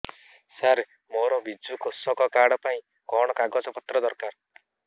ସାର ମୋର ବିଜୁ କୃଷକ କାର୍ଡ ପାଇଁ କଣ କାଗଜ ପତ୍ର ଦରକାର